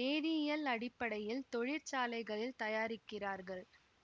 வேதியியல் அடிப்படையில் தொழிற்சாலைகளில் தயாரிக்கிறார்கள்